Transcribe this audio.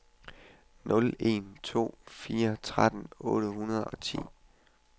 nul en to fire tretten otte hundrede og ti